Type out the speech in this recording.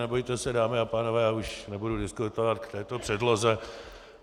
Nebojte se, dámy a pánové, já už nebudu diskutovat k této předloze.